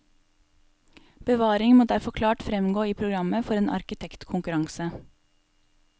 Bevaring må derfor klart fremgå i programmet for en arkitektkonkurranse.